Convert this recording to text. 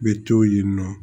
Bɛ to yen nɔ